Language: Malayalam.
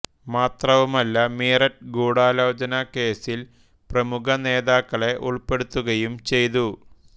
മാത്രവുമല്ല മീററ്റ് ഗൂഢാലോചനാ കേസ്സിൽ പ്രമുഖ നേതാക്കളെ ഉൾപ്പെടുത്തുകയും ചെയ്തു